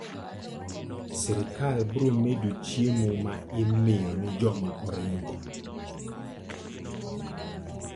Sirkal biro medo chiemo ma imiyo ne joma oringo.